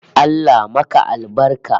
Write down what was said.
Allah maka albarka!